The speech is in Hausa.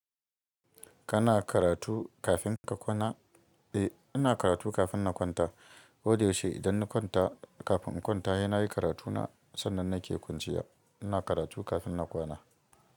Kana karatu kafin ka kwana? Eh, ina karatu kafin na kwanta. Wodai yaushe idan na kwanta, kafin in kwanta, he na yi karatuna. Sannan nake kwanciya. Ina karatu kafin na kwana.